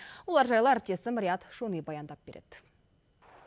олар жайлы әріптесім риат шони баяндап береді